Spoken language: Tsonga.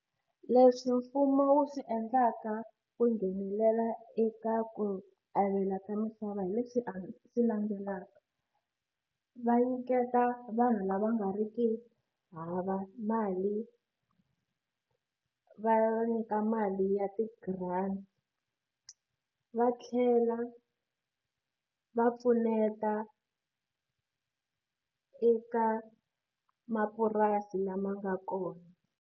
Leswi mfumo wu swi endlaka ku nghenelela eka ku avela ka misava hi leswi a swi landzelaka va nyiketa vanhu lava nga ri ki hava mali va nyika mali ya ti grant va tlhela va pfuneta eka mapurasi lama nga kona.